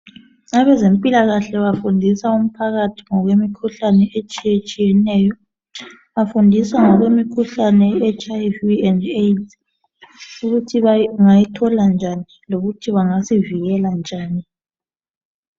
Abezempilakahle bafundisa umphakathi ngokwemikhuhlane etshiyetshiyeneyo. Bafundisa ngemikhuhlane ye HIV and AIDS ukuthi bangayithola njani lokuthi bangasivikela njani.